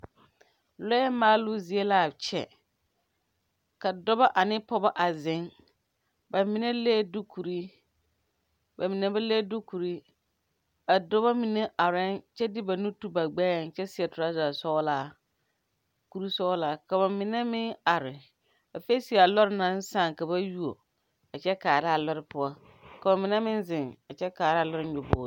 Lɔɛ maaloo zie laa kyɛ ka dɔbɔ ane pɔɔbɔ a zeŋ ba mine lee dukurre ba mine ba le dukure a dɔbɔ mine areɛɛ kyɛ de ba nu te ba gbɛɛŋ kyɛ seɛ trɔza sɔglaa kurisɔglaa ka ba mine meŋ are a feese a lɔɔre naŋ sãã ka ba yuo a kyɛ kaara a lɔre poɔ ka ba mine zeŋ a kyɛ kaara a lɔre nyobogre.